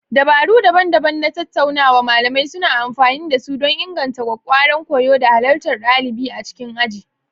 Dabaru daban-daban na tattaunawa malamai suna amfani da su don inganta ƙwaƙƙwaran koyo da halartar ɗalibai a cikin aji.